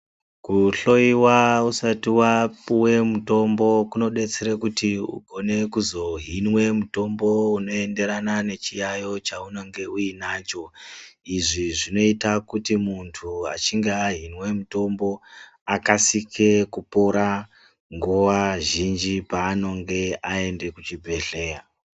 Kuhloyiwa usati wapuwe mutombo kunodetsere kuti ukone kuzohinwe mutombo unoenderana nechiyayo chaunenge uinacho. Izvi zvinoita kuti muntu achinge ahinwe mutombo akasike kupora nguwa zhinji paanonge aende kuchibhedhleya.